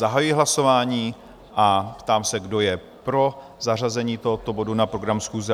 Zahajuji hlasování a ptám se, kdo je pro zařazení tohoto bodu na program schůze?